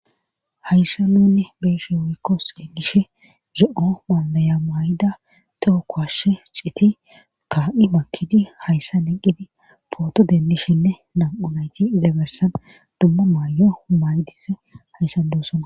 Hayssa nuunne beeshe woykko seegishe ze7o wandaya may7da too kowhashe citi ka7i makkidi hayssa neqqidi pooto dendishenne nam7unayti izabersan dumma maayo maydis hayssan doosona.